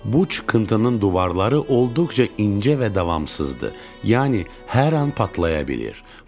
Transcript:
Bu çıxıntının divarları olduqca incə və davamsızdır, yəni hər an patlaya bilir.